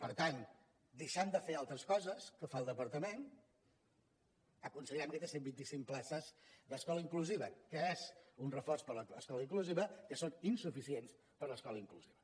per tant deixant de fer altres coses que fa el departament aconseguirem aquestes cent vint i cinc places d’escola inclusiva que és un reforç per a l’escola inclusiva que són insuficients per a l’escola inclusiva